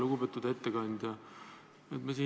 Lugupeetud ettekandja!